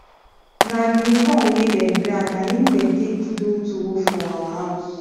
na guinea corn we dem grind na in dem take do tuwo for our house